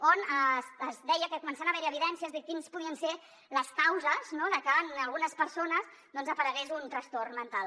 on es deia que comencen a haver hi evidències de quines podrien ser les causes no de que en algunes persones doncs aparegués un trastorn mental